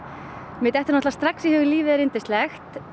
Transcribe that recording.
mér dettur strax í hug lífið er yndislegt